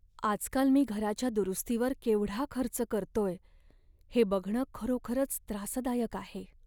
आजकाल मी घराच्या दुरुस्तीवर केवढा खर्च करतोय हे बघणं खरोखरच त्रासदायक आहे.